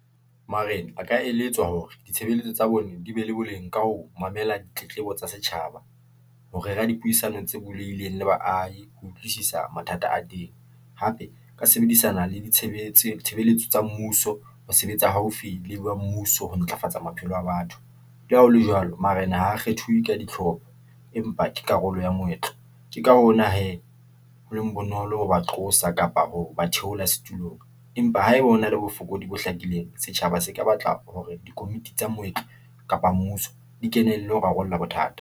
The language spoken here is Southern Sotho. Marena a ka eletswa hore ditshebeletso tsa bone di be le boleng ka ho mamela ditletlebo tsa setjhaba, ho rera dipuisano tse bulehileng le baahi, ho utlwisisa mathata a teng, hape ka sebedisana le ditshebeletso tsa mmuso, ho sebetsa haufi le ba mmuso ho ntlafatsa maphelo a batho. Le ha ho le jwalo, marena ho kgethuwe ka ditlhobo, empa ke karolo ya moetlo. Ke ka hona hee, ho leng bonolo ho ba qosa kapa ho ba theola setulong, empa haeba hona le bofokodi bo hlakileng, setjhaba se ka batla hore dikomiti tsa moetlo, kapa mmuso di kenelle ho rarolla bothata.